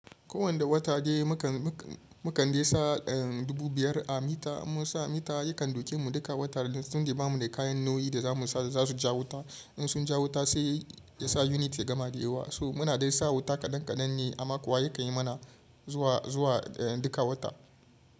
Ko wanda wata dai mu kan dai sa dubu biyar a mita, inmun sa mita yakan ɗauke mu duka wata ne tunda ba mu da kayan nauyi da za mu sa da za su ja wuta. In sun ja wuta sai ya sa unit ya gama dayawa. So muna dai sa wuta kaɗan kaɗan ne amma kuwa yakan yi mana zuwa duka wata.